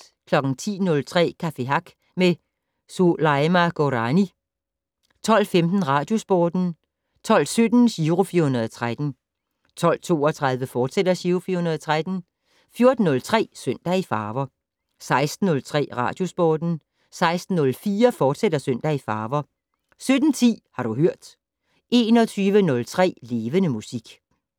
10:03: Café Hack med Soulaima Gourani 12:15: Radiosporten 12:17: Giro 413 12:32: Giro 413, fortsat 14:03: Søndag i farver 16:03: Radiosporten 16:04: Søndag i farver, fortsat 17:10: Har du hørt 21:03: Levende Musik